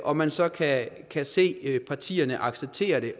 og man så kan kan se partierne acceptere det